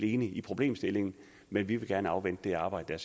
enige i problemstillingen men vi vil gerne afvente det arbejde